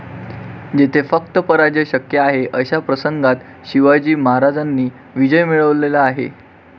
जेथे फक्त पराजय शक्य आहे अशा प्रसंगात शिवाजी महाराजांनी विजय मिळवलेला आहे.